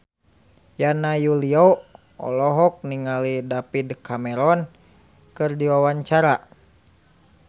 Yana Julio olohok ningali David Cameron keur diwawancara